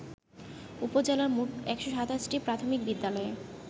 উপজেলার মোট ১২৭টি প্রাথমিক বিদ্যালয়ে